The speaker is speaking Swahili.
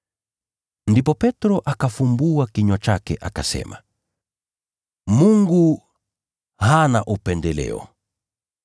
Ndipo Petro akafungua kinywa chake akasema, “Mungu hana upendeleo,